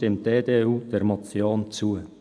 Deswegen stimmt die EDU der Motion zu.